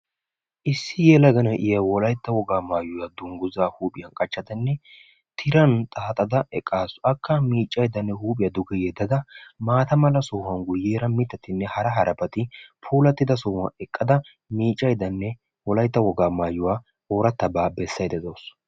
issi yelaga na'iya wolaytta wogaa maayuwa huuphiyan qachada miicaydanne tiran wotada oorataa baagaa besaydda de'awusu.